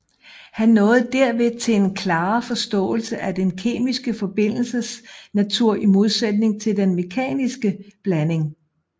Han nåede derved til en klarere forståelse af den kemiske forbindelses natur i modsætning til den mekaniske blanding